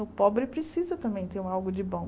O pobre precisa também ter um algo de bom.